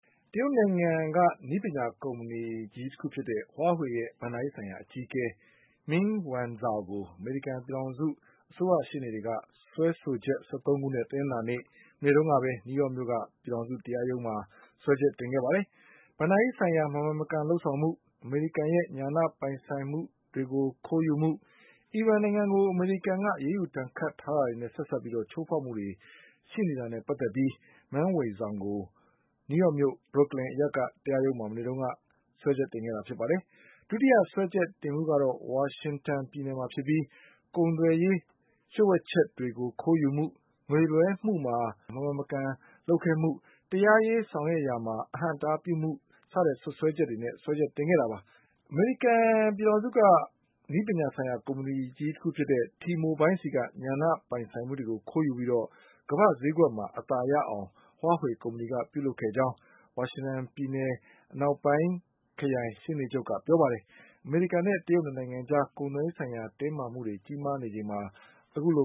တရုတ်နိုင်ငံ နည်းပညာကုမ္ပဏီဖြစ်တဲ့ Huaweiရဲ့ ဘဏ္ဍာရေးဆိုင်ရာအကြီးအကဲ Meng Wanzhou ကိုအမေရိကန်ပြည်ထောင်စု အစိုးရရှေ့နေတွေက စွဲဆိုချက် ၁၃ခုနဲ့ တနင်္လာနေ့ မနေ့တုန်းကပဲ နယူးယောက်မြို့က ပြည်ထောင်စု တရားရုံးမှာ စွဲချက်တင်ခဲ့ပါတယ်။ ဘဏ္ဍာရေးဆိုင်ရာ မမှန်မကန်လုပ်ဆောင်မှု၊ အမေရိကန်ရဲ့ ညာဏပိုင်ဆိုင်မှုတွေကိုခိုးယူမှု၊ အီရန် နိုင်ငံကို အမေရိကန်ကအရေးယူ ဒဏ်ခတ်ထားမှုနဲ့ဆက်စပ်ပြီး ချိုးဖေါက်မှုတွေရှိတာတွေနဲ့ပတ်သက်ပြီး Meng Wanzhou ကို နယူးယောက်မြို့ Brooklyn အရပ်က တရားရုံးမှာ မနေ့က စွဲချက်တင်ခဲ့တာပါ။ ဒုတိယစွဲချက်တင်မှုက ဝါရှင်တန်ပြည် နယ်မှာဖြစ်ပြီး ကုန်သွယ်ရေးလျှို့ဝှက်ချက်တွေကို ခိုးယူမှု၊ ငွေလွှဲမှုမှာ မမှန်မကန်လုပ်ခဲ့မှု၊ တရားရေးဆောင်ရွက်ရာမှာ အဟန့်အတားပြုမှုတွေနဲ့ စွဲချက်တင်ခဲ့တာပါ။ အမေရိကန်ကုမ္ပဏီ T-Mobile ဆီက ညာဏပိုင်ဆိုင်မှုတွေကိုခိုးယူပြီး ကမ္ဘာ့ဈေးကွက်မှာအသာရအောင် Huawei ကုမ္ပဏီကပြုလုပ်ခဲ့ကြောင်း ဝါရှင်တန်ပြည်နယ်အနောက်ပိုင်း ခရိုင်ရှေ့နေချုပ် ကပြောပါတယ်။ အမေရိကန်နဲ့တရုတ်၂နိုင်ငံအကြား ကုန်သွယ်ရေးဆိုင်ရာတင်းမာမှုတွေကြီးမားနေချိန်မှာအခုလ